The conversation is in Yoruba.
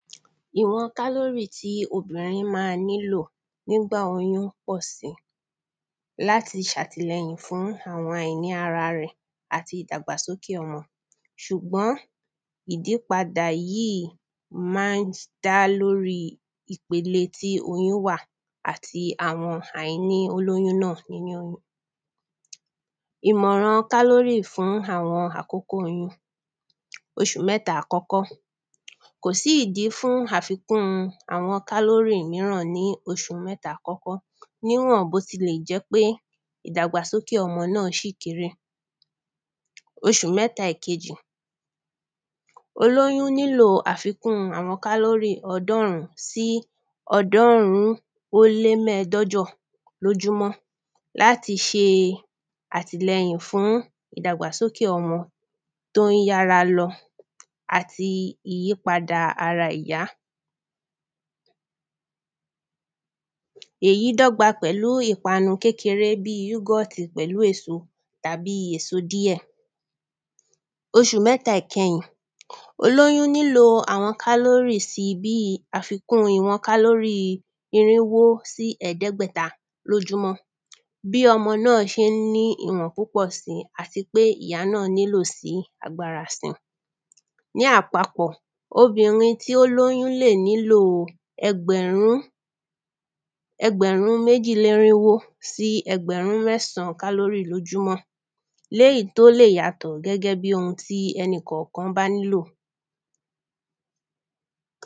Ìwọn kálórì tí obìnrin má nílò nígbà oyún ọ̀sẹ̀ láti ṣàtìlẹyìn fún àwọn àìní ara rẹ̀ àti ìdàgbàsókè ọmọ. Ṣùgbọ́n ìdípadà yíì má ń dá lórí ìpele tí oyún wà àti àwọn àìní olóyún náà nínú. Ìmọ̀ràn kálórì fún àwọn àkókò yíì oṣù méta àkókó kò sí ìdí fún àfikún àwọn kálórì míràn ní oṣù mẹ́ta àkọ́kọ́ níwọ̀n bó ti lè jẹ́ pé ìdàgbàsókè náà ṣì kéré. Oṣù mẹ́ta ẹ̀kejì olóyún nílò àfikún àwọn kálórì ọdọ́rún sí ọdọ́rún ó lé mẹ́dọ́jọ̀ lójúmọ́ láti ṣe àtìlẹyìn fún ìdàgbàsókè ọmọ tó ń yára lọ àti ìyípadà ara ìyá. Èyí dọ́gba pẹ̀lú ìpanu kékeré bí yúgọ̀tì pẹ̀lú èso tàbí èso díẹ̀. Oṣù mẹ́ta ìkẹyìn olóyún nílò àwọn kálórìs bí àfikún ìwọn kálórì irinwó sí ẹ̀dẹ́gbẹta lójúmọ́ bí ọmọ náà ṣé ń ní ìwọ̀n púpọ̀ sí àti pé ìyá náà nílò sí agbára sí. Ní àpapọ̀ obìnrin tí ó lóyún lè nílò ẹgbẹ̀rún ẹgbẹ̀rún méjí lénírínwó sí ẹgbẹ̀rún mẹ́sàn kálórí lójúmọ́ léyìn tó lè yàtọ̀ gẹ́gẹ́ bí ohun tí ẹnikọ̀kan bá nílò.